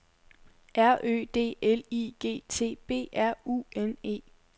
R Ø D L I G T B R U N E